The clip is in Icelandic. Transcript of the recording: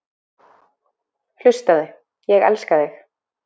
Hlustaðu: Ég elska þig.